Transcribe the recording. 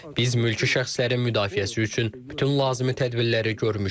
Biz mülki şəxslərin müdafiəsi üçün bütün lazımi tədbirləri görmüşük.